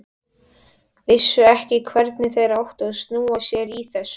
Vissu ekki hvernig þeir áttu að snúa sér í þessu.